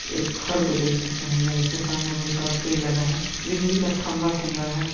एक खर को देख सकते हैं। जहाँ इसके सामने बहुत सारा पेड़ लगा है। बिजली का खम्भा कुम्भा है।